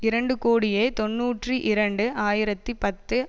இரண்டு கோடியே தொன்னூற்றி இரண்டு ஆயிரத்தி பத்து